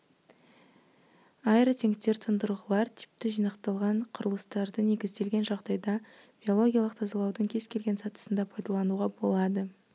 аэротенктер-тұндырғылар типті жинақталған құрылыстарды негізделген жағдайда биологиялық тазалаудың кез келген сатысында пайдалануға болады